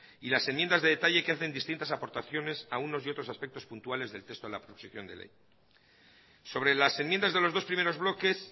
y las enmiendas de detalle que hacen distintas aportaciones a unos y otros aspectos puntuales del texto en la proposición de ley sobre las enmiendas de los dos primeros bloques